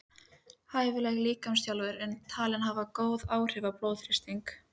Hæfileg líkamsþjálfun er talin hafa góð áhrif á blóðþrýsting.